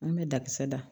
An bɛ dakisɛ da